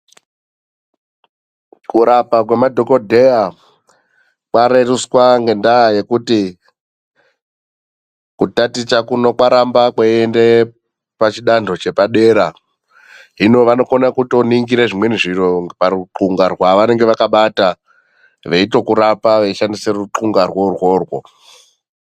Kurapa kwemadhokodheya kwareruswa ngendaa yekuti kutaticha kuno kwaramba kweiende pachidando chepadera. Hino vanokona kutoningire zvimweni zviro parukundla rwevanonga vakabata, veitokurapa veishandise rukundla rwo urworwo.